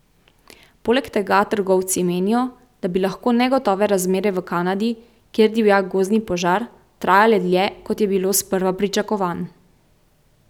Poleg tega trgovci menijo, da bi lahko negotove razmere v Kanadi, kjer divja gozdni požar, trajale dlje, kot je bilo sprva pričakovan.